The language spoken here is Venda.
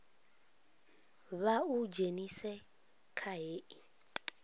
vha u dzhenise kha hei